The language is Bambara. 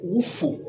U fo